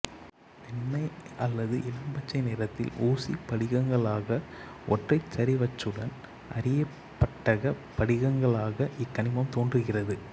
வெண்மை அல்லது இளம் பச்சை நிறத்தில் ஊசிப் படிகங்களாக ஒற்றைச்சரிவச்சுடன் அரியபட்டகப் படிகங்களாக இக்கனிமம் தோன்றுகிறது